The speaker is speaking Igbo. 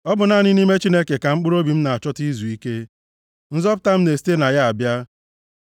Ọ bụ naanị nʼime Chineke ka mkpụrụobi m na-achọta izuike. Nzọpụta m na-esite na ya na-abịa.